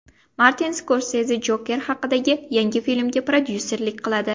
Martin Skorseze Joker haqidagi yangi filmga prodyuserlik qiladi.